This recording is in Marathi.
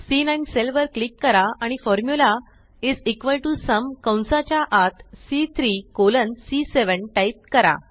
सी9 सेल वर क्लिक करा आणि formula is equal to sum कंसाच्या आत सी3 कॉलन सी7 टाइप करा